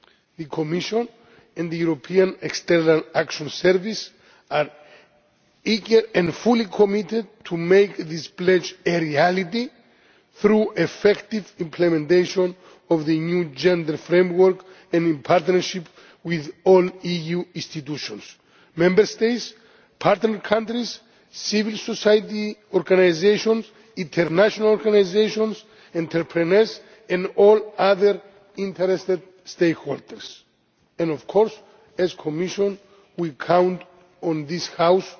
The Commission and the European External Action Service are eager and fully committed to make this pledge a reality, through effective implementation of the new gender framework, and in partnership with all the EU institutions, the Member States, partner countries, civil society organisations, international organisations, entrepreneurs and all other interested stakeholders. And of course, as the Commission, we count on this House